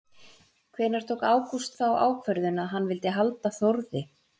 Hvenær tók Ágúst þá ákvörðun að hann vildi halda Þórði?